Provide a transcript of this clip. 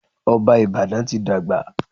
Ọba Ìbàdàn ti dàgbà.